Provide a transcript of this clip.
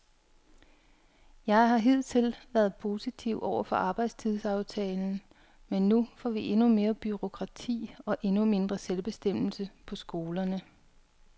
Jeg har hidtil været positiv over for arbejdstidsaftalen, men nu får vi endnu mere bureaukrati og endnu mindre selvbestemmelse på skolerne.